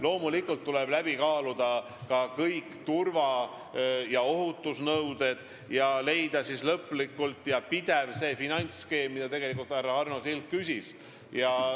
Loomulikult tuleb läbi kaaluda kõik turva- ja ohutusnõuded ning leida lõplik ja pidev finantsskeem, mille kohta härra Arno Sild küsis.